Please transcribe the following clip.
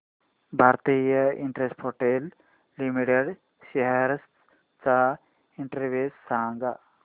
Bharti Infratel limited shares चा index सांगा